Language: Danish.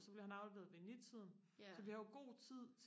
og så bliver han afleveret ved ni tiden så vi har jo god tid